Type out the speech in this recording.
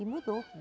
E mudou.